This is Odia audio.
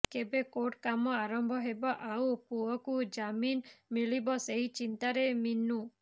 କେବେ କୋର୍ଟ କାମ ଆରମ୍ଭ ହେବ ଆଉ ପୁଅକୁ ଜାମିନ ମିଳିବ ସେଇ ଚିନ୍ତାରେ ମୀନୁ